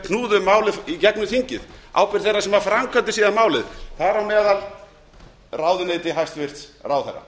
knúðu málið í gegnum þingið ábyrgð þeirra sem sáu um framkvæmdina ráðuneyti hæstvirtur ráðherra